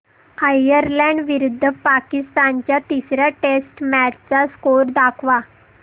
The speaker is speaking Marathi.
आयरलॅंड विरुद्ध पाकिस्तान च्या तिसर्या टेस्ट मॅच चा स्कोअर दाखवा